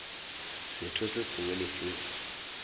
setho se sengwe le se